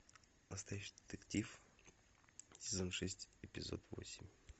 настоящий детектив сезон шесть эпизод восемь